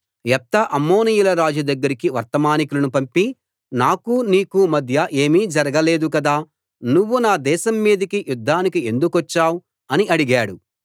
యెఫ్తా అమ్మోనీయుల రాజు దగ్గరికి వర్తమానికులను పంపి నాకు నీకు మధ్య ఏమీ జరగ లేదు కదా నువ్వు నా దేశం మీదికి యుద్ధానికి ఎందుకొచ్చావు అని అడిగాడు